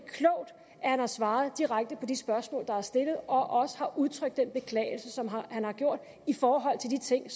han har svaret direkte på de spørgsmål der er blevet stillet og også har udtrykt den beklagelse som han har gjort i forhold til de ting